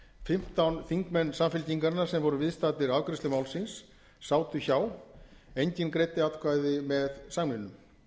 fimmtán þingmenn samfylkingarinnar sem voru viðstaddir afgreiðslu málsins sátu hjá enginn greiddi atkvæði með samningnum